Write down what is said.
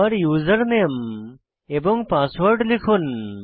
আবার উসের নামে এবং পাসওয়ার্ড লিখুন